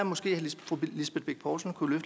fru lisbeth bech poulsen kunne